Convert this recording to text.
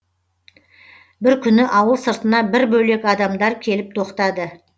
бір күні ауыл сыртына бір бөлек адамдар келіп тоқтады